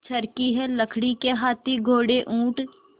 चर्खी है लकड़ी के हाथी घोड़े ऊँट